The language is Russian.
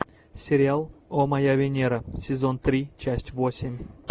сериал о моя венера сезон три часть восемь